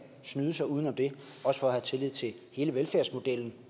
snyde sig uden om det også for at have tillid til hele velfærdsmodellen